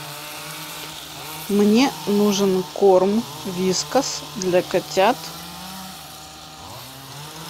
мне нужен корм вискас для котят